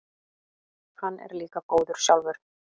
Hann er líka góður sjálfur.